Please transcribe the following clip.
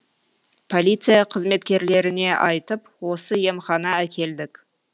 полиция қызметкерлеріне айтып осы емхана әкелдік